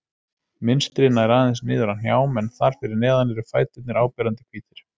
Mynstrið nær aðeins niður að hnjám en þar fyrir neðan eru fæturnir áberandi hvítir.